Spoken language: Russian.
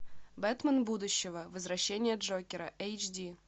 бэтмен будущего возвращение джокера эйч ди